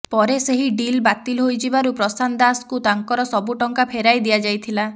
ପରେ ସେହି ଡିଲ୍ ବାତିଲ ହୋଇଯିବାରୁ ପ୍ରଶାନ୍ତ ଦାଶଙ୍କୁ ତାଙ୍କର ସବୁ ଟଙ୍କା ଫେରାଇ ଦିଆଯାଇଥିଲା